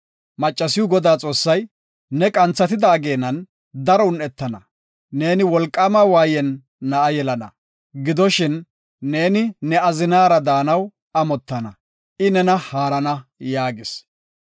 Maccasiw Godaa Xoossay, “Ne qanthatida ageenan daro un7etana. Neeni wolqaama waayen na7a yelana. Gidoshin, neeni ne azinaara daanaw amottana; I nena haarana” yaagis.